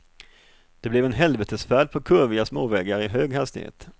Det blev en helvetesfärd på kurviga småvägar i hög hastighet.